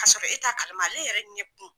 K'a sɔrɔ e t'a kalama ale yɛrɛ ɲɛ kun